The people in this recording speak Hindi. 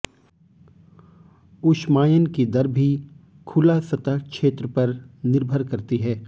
ऊष्मायन की दर भी खुला सतह क्षेत्र पर निर्भर करती है